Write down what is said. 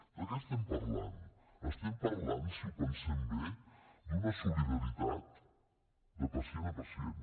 de què estem parlant estem parlant si ho pensem bé d’una solidaritat de pacient a pacient